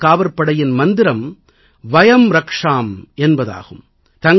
கடலோரக் காவற்படையின் மந்திரம் வயம் ரக்ஷாம் என்பதாகும்